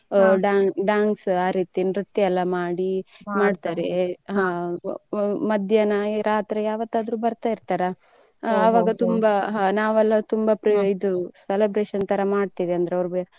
ಹಾ ಡಾ~ dance ಆ ರೀತಿ ನೃತ್ಯಯೆಲ್ಲ ಮಾಡಿ ಹಾ ಮಧ್ಯಾಹ್ನ ರಾತ್ರಿ ಯಾವತ್ತಾದ್ರು ಬರ್ತಾ ಇರ್ತಾರ ತುಂಬಾ ಹಾ ನಾವೆಲ್ಲ ತುಂಬಾ ಇದು celebration ತರ ಮಾಡ್ತಿವಿ ಅಂದ್ರೆ ಅವ್ರು.